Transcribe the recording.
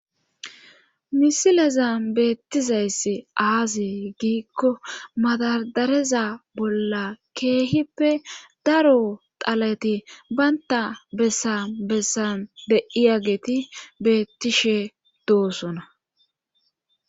Misileza beettizayssi aaziy giikko madadareza bolla keehippe daro xaleti baynta bessan bessan de'iya geti beettishe doosona.